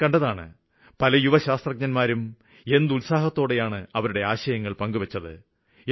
ഞാന് കണ്ടതാണ് പല യുവശാസ്ത്രജ്ഞന്മാരും എന്ത് ഉത്സാഹത്തോടെയാണ് അവരുടെ ആശയങ്ങള് പങ്കുവെച്ചത്